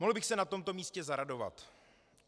Mohl bych se na tomto místě zaradovat.